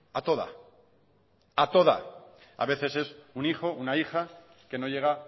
a toda a toda a veces es un hijo una hija que no llega